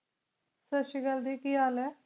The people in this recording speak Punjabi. ਸਾਸਰੀ ਕਾਲ ਕੀ ਹਾਲ ਆਯ